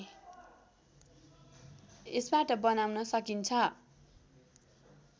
यसबाट बनाउन सकिन्छ